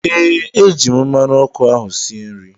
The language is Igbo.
Ee, eji m mmanụ ọkụ ahụ sie nri